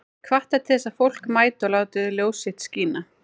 Hvatt er til þess að fólk mæti og láti ljós sitt skína